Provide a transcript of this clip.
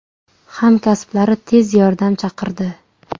Hamkasblari tez yordam chaqirdi.